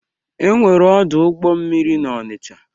E nwere ọdụ ụgbọ mmiri n'Ọnịcha.